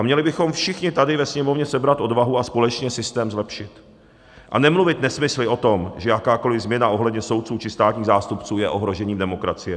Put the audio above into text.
A měli bychom všichni tady ve Sněmovně sebrat odvahu a společně systém zlepšit a nemluvit nesmysly o tom, že jakákoli změna ohledně soudců či státních zástupců je ohrožením demokracie.